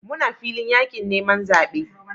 Muna filin yakin neman zabe